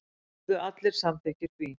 Urðu allir samþykkir því.